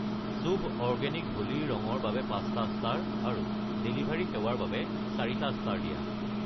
শুভ organic Holi ৰং ৰ বাবে ৫টা ষ্টাৰ আৰু ডেলিভাৰী সেৱাৰ বাবে ৪টা ষ্টাৰ দিয়া।